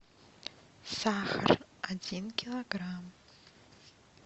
сахар один килограмм